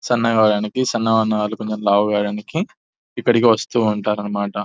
సన్నగా అవ్వడానికి సన్నగా ఉన్నవాళ్లు కొంచెం లావుగా అవ్వడానికి ఇక్కడికి వస్తూ ఉంటారు అన్నమాట --